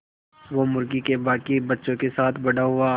वो मुर्गी के बांकी बच्चों के साथ बड़ा हुआ